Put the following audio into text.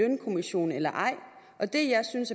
lønkommission eller ej og det jeg synes